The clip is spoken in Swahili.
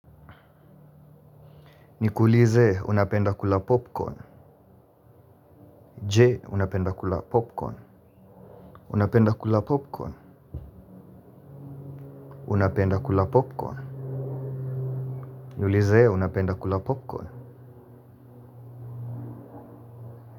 Nikuulize unapenda kula popcorn, je unapenda kula popcorn? Unapenda kula popcorn, unapenda kula popcorn. Niulize unapenda kula popcorn.